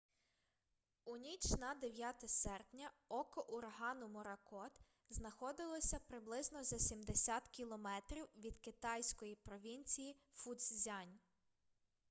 у ніч на 9 серпня око урагану моракот знаходилося приблизно за сімдесят кілометрів від китайської провінції фуцзянь